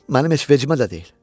Mənim heç vecimə də deyil.